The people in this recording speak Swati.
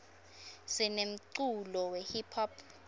sinemculo we hiphop